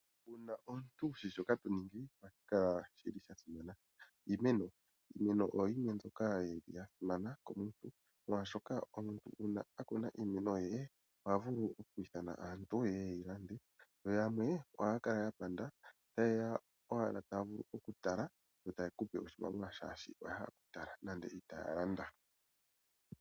Uuna omuntu wushi shoka to ningi ohashi kala shi li sha simana. Iimeno oyo yimwe mbyoka ya simana komuntu molwashoka omuntu uuna a kuna iimeno ye, oha vulu oku ithana aantu yeye ye yi lande. Yo yamwe ohaya kala ya panda, ta yeya owala taa vulu okutala yo taye kupe oshimaliwa shaashi oya hala okutala nande itaya landa.